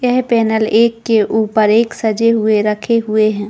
यह पैनल एक के ऊपर एक सजे हुए रखे हुए हैं।